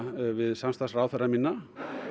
við samstarfsráðherra mína